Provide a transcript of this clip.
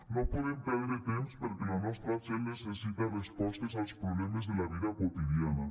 no podem perdre temps perquè la nostra gent necessita respostes als problemes de la vida quotidiana